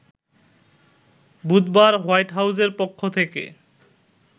বুধবার হোয়াইট হাউজের পক্ষ থেকে